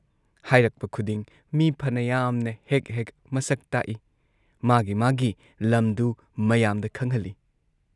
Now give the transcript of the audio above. ꯍꯥꯏꯔꯛꯄ ꯈꯨꯗꯤꯡ ꯃꯤ ꯐꯅ ꯌꯥꯝꯅ ꯍꯦꯛ ꯍꯦꯛ ꯃꯁꯛ ꯇꯥꯛꯏ, ꯃꯥꯒꯤ ꯃꯥꯒꯤ ꯂꯝꯗꯨ ꯃꯌꯥꯝꯗ ꯈꯪꯍꯜꯂꯤ ꯫